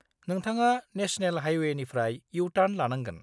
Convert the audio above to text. नोंथाङा नेशनेल हायवेनिफ्राय इउ-टार्न लानांगोन।